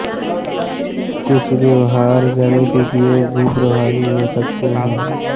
कुछ व्यवहार जनित उपाय भी प्रभावी हो सकते हैं